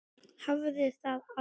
Hafði það aldrei.